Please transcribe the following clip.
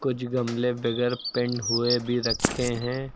कुछ गमले बगैर पेंट हुए भी रखे हैं।